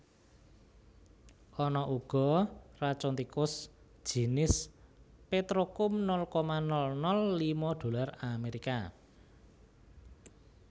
Ana uga racun tikus jinis petrokum nol koma nol nol lima dolar Amerika